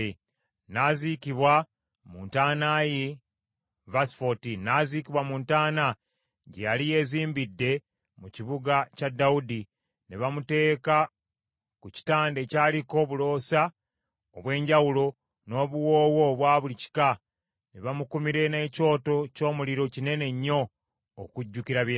N’aziikibwa mu ntaana gye yali yeezimbidde mu kibuga kya Dawudi. Ne bamuteeka ku kitanda ekyaliko obuloosa obwenjawulo n’obuwoowo obwa buli kika, ne bamukumira n’ekyoto ky’omuliro kinene nnyo okujjukira bye yakola.